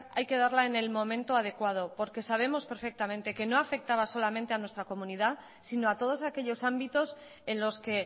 hay que darla en el momento adecuado porque sabemos perfectamente que no afectaba solamente a nuestro comunidad sino a todos aquellos ámbitos en los que